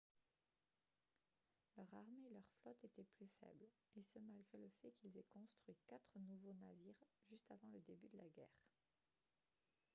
leur armée et leur flotte étaient plus faibles et ce malgré le fait qu'ils aient construit quatre nouveaux navires juste avant le début de la guerre